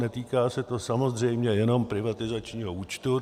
Netýká se to samozřejmě jenom privatizačního účtu.